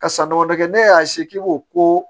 Ka san damadɔ kɛ ne y'a k'i b'o ko